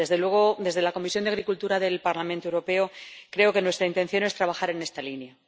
Desde luego, desde la Comisión de Agricultura del Parlamento Europeo, creo que nuestra intención es trabajar en esta línea.